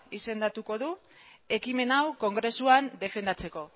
izendatuko du ekimen hau kongresuan defendatzeko